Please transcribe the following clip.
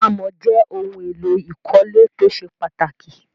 Àmọ̀ jẹ́ ohun-èlò ìkọ́lé tó ṣe pàtàkì.